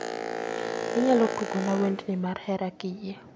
Inyalo tugona wendni mar hera kiyie